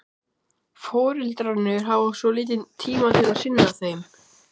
Foreldrarnir hafa svo lítinn tíma til að sinna þeim.